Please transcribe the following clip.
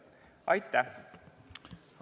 Aitäh!